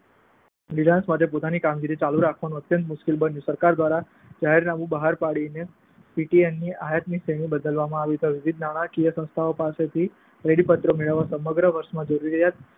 Reliance માટે પોતાની કામગીરી ચાલુ રાખવાનું અત્યંત મુશ્કેલ બન્યું. સરકાર દ્વારા જાહેરનામુ બહાર પાડીને પીટીએની આયાતની શ્રેણી બદલવામાં આવી તો વિવિધ નાણાકીય સંસ્થાઓ પાસેથી ક્રેડિટના પત્રો મેળવીને સમગ્ર વર્ષની જરૂરિયાત